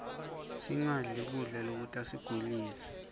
sinqabli kubla lokutasigulisa